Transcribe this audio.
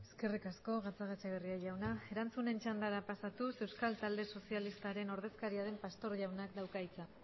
eskerrik asko gatzagaetxebarria jauna erantzunen txandara pasatuz euskal talde sozialistaren ordezkaria den pastor jaunak dauka hitza